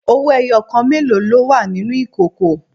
Owó ẹyọ kan mélòó ló wà nínú ìkòkò?